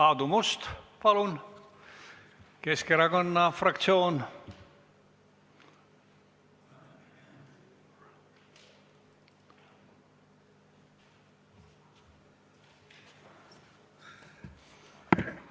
Aadu Must, palun, Keskerakonna fraktsioon!